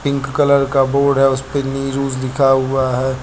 Pink colour का board है उस पे निरुज लिखा हुआ है।